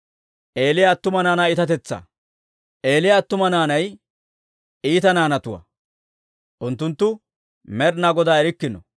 Eeliya attuma naanay iita naanatuwaa; unttunttu Med'inaa Godaa erikkino,